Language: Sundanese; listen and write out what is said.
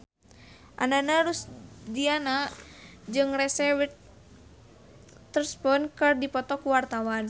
Ananda Rusdiana jeung Reese Witherspoon keur dipoto ku wartawan